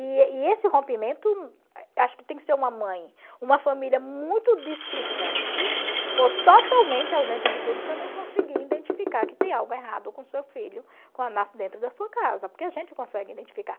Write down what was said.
E e e esse rompimento, acho que tem que ser uma mãe, uma família muito displicente ou totalmente ausente de tudo para não conseguir identificar que tem algo errado com o seu filho quando nasce dentro da sua casa, porque a gente consegue identificar.